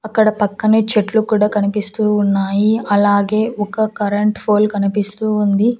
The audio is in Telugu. అక్కడ పక్కనే చెట్లు కూడా కనిపిస్తూ ఉన్నాయి అలాగే ఒక కరెంట్ ఫోల్ కనిపిస్తూ ఉంది.